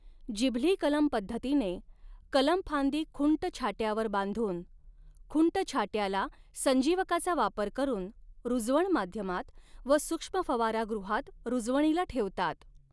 जिभली कलम पद्धतीने कलमफांदी खुंट छाट्यावर बांधून, खुंटछाट्याला संजीवकाचा वापर करून, रूजवण माध्यमात व सूक्ष्मफवारागृहात रूजवणीला ठेवतात.